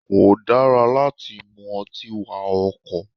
Kò dára láti mú ọtí wa ọkọ̀.